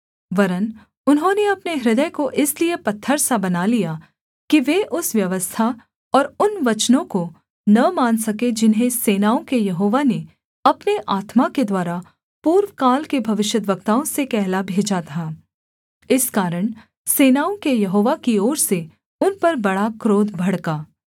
वरन् उन्होंने अपने हृदय को इसलिए पत्थर सा बना लिया कि वे उस व्यवस्था और उन वचनों को न मान सके जिन्हें सेनाओं के यहोवा ने अपने आत्मा के द्वारा पूर्वकाल के भविष्यद्वक्ताओं से कहला भेजा था इस कारण सेनाओं के यहोवा की ओर से उन पर बड़ा क्रोध भड़का